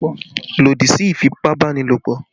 Lòdì sí ìfipá-báni-lòpọ̀!